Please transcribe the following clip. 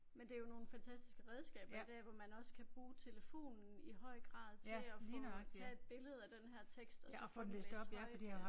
Men det jo nogle fantastisk redskaber i dag hvor man også kan bruge telefonen i høj grad til at få tage et billede af den her tekst og så få den løst højt